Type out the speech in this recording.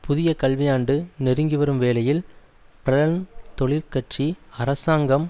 புதிய கல்வியாண்டு நெருங்கி வரும் வேளையில் பிரெளன் தொழிற்கட்சி அரசாங்கம்